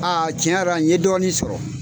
A tiɲɛyara n ye dɔɔnin sɔrɔ.